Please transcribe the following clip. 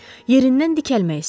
Yerindən dikəlmək istədi.